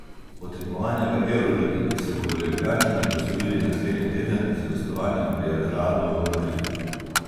Od tekmovanja v evroligi se bodo Ljubljančani poslovili naslednji teden z gostovanjem pri Realu v Madridu.